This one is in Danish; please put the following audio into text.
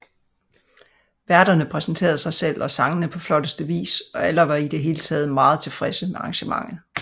Værterne præsenterede sig selv og sangene på flotteste vis og alle var i det hele taget meget tilfredse med arrangementet